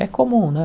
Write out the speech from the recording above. É comum, né?